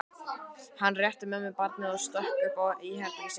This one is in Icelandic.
Hann rétti mömmu barnið og stökk upp í herbergið sitt.